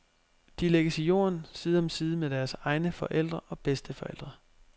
De lægges i jorden, side om side med deres egne forældre og bedsteforældre.